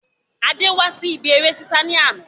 Adé wá sí ibi ère ṣíṣá ni àná